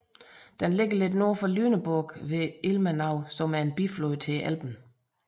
Den ligger lidt nord for Lüneburg ved Ilmenau som er en biflod til Elben